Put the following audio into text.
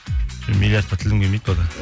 миллярдқа тілім келмейді пока